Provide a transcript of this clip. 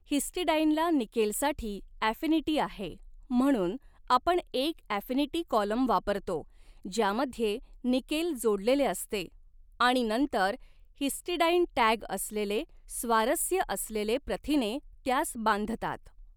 हिस्टिडाइनला निकेलसाठी अॕफिनिटी आहे म्हणून आपण एक अॕफिनिटी कॉलम वापरतो ज्यामध्ये निकेल जोडलेले असते आणि नंतर हिस्टिडाइन टॅग असलेले स्वारस्य असलेले प्रथिने त्यास बांधतात.